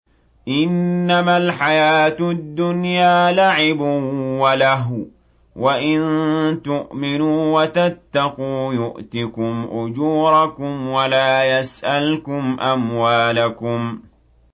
إِنَّمَا الْحَيَاةُ الدُّنْيَا لَعِبٌ وَلَهْوٌ ۚ وَإِن تُؤْمِنُوا وَتَتَّقُوا يُؤْتِكُمْ أُجُورَكُمْ وَلَا يَسْأَلْكُمْ أَمْوَالَكُمْ